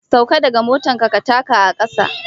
Sauka daga mota ka taka a kasa